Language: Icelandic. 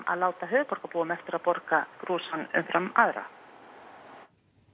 að láta höfuðborgarbúum eftir að borga brúsann umfram aðra